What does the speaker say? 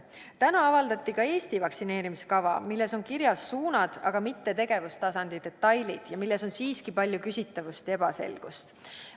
Täna avaldati ka Eesti vaktsineerimiskava, milles on kirjas suunad, aga mitte tegevustasandi detailid, ja milles on siiski palju küsitavusi ja ebaselgust.